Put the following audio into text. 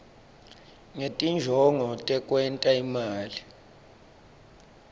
ngetinjongo tekwenta imali